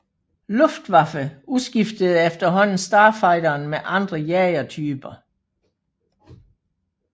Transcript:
Luftwaffe udskiftede efterhånden Starfighteren med andre jagertyper